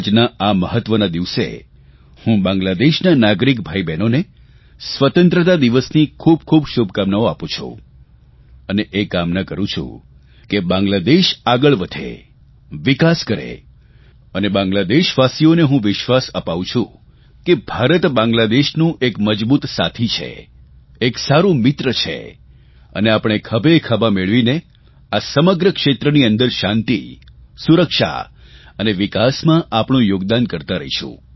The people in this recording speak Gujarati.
આજના આ મહત્વના દિવસે હું બાંગ્લાદેશના નાગરિક ભાઇઓબહેનોને સ્વતંત્રતા દિવસની ખૂબ ખૂબ શુભકામનાઓ આપું છું અને એ કામના કરૂં છું કે બાંગ્લાદેશ આગળ વધે વિકાસ કરે અને બાંગ્લાદેશીવાસીઓને હું વિશ્વાસ અપાવું છું કે ભારત બાંગ્લાદેશનું એક મજબૂત સાથી છે એક સારૂં મિત્ર છે અને આપણે ખભેખભા મેળવીને આ સમગ્ર ક્ષેત્રની અંદર શાંતિ સુરક્ષા અને વિકાસમાં આપણું યોગદાન કરતા રહીશું